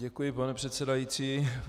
Děkuji, pane předsedající.